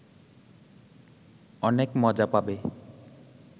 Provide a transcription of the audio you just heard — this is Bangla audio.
অনেক মজা পাবে